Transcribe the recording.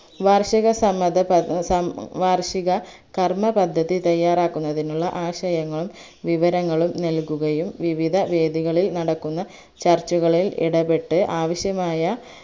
വാർഷിക സംബന്ധ പ ഏർ സം വാർഷിക കർമപദ്ധതി തയ്യാറാക്കുന്നതിനുള്ള ആശയങ്ങളും വിവരങ്ങളും നല്കുകകയും വിവിധവേദികളിൽ നടക്കുന്ന ചർച്ചകളിൽ ഇടപെട്ട് ആവശ്യമായ